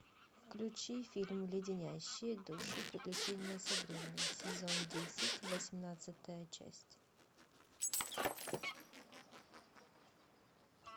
включи фильм леденящие душу приключения сабрины сезон десять восемнадцатая часть